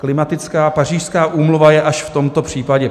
Klimatická Pařížská úmluva je až v tomto případě.